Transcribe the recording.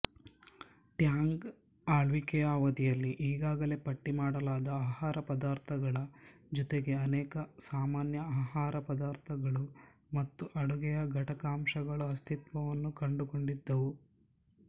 Tang ಆಳ್ವಿಕೆಯ ಅವಧಿಯಲ್ಲಿ ಈಗಾಗಲೇ ಪಟ್ಟಿಮಾಡಲಾದ ಆಹಾರಪದಾರ್ಥಗಳ ಜೊತೆಗೆ ಅನೇಕ ಸಾಮಾನ್ಯ ಆಹಾರಪದಾರ್ಥಗಳು ಮತ್ತು ಅಡುಗೆಯ ಘಟಕಾಂಶಗಳು ಅಸ್ತಿತ್ವವನ್ನು ಕಂಡುಕೊಂಡಿದ್ದವು